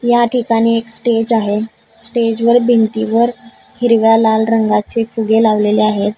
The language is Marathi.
या ठिकाणी एक स्टेज आहे स्टेज भिंतीवर हिरव्या लाल रंगाचे फुगे लावलेले आहेत.